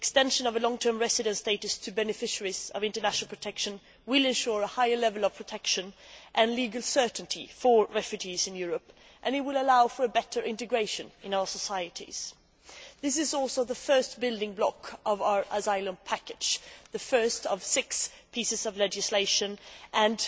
The extension of long term residence status to beneficiaries of international protection will ensure a higher level of protection and legal certainty for refugees in Europe and will allow for better integration in our societies. This is also the first building block of our asylum package the first of six pieces of legislation and